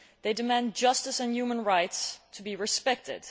They demand justice and human rights to be respected.